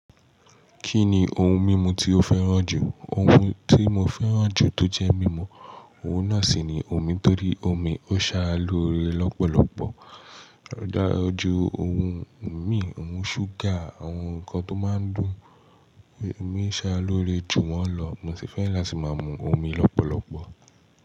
Kí ni ohun mímu tí o fẹ́ràn jù? Ohun tí mo fẹ́ràn jù tó jẹ́ mímu, ohun náà sì ni omi torí omi ó ṣárá lóre lọ́pọ̀lọpọ̀. Dára ju ohun mí, ohun ṣúgà, àwọn nǹkan tó máa ń dùn mí ṣá lóre jù wọ́n lọ. Mo sì fẹ́ràn láti máa mu omi lọ́pọ̀lọpọ̀.